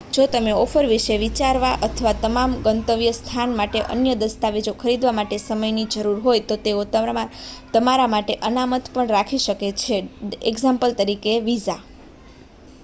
જો તમને ઓફર વિશે વિચારવા અથવા તમારા ગંતવ્ય સ્થાન માટે અન્ય દસ્તાવેજો ખરીદવા માટે સમય ની જરૂર હોય તો તેઓ તમારા માટે અનામત પણ રાખી શકે છે દા.ત. વિઝા